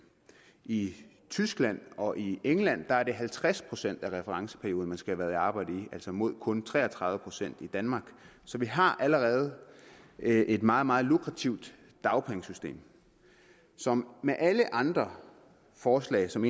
i tyskland og i england er det halvtreds procent af referenceperioden man skal have været i arbejde mod kun tre og tredive procent i danmark så vi har allerede et meget meget lukrativt dagpengesystem som med alle andre forslag som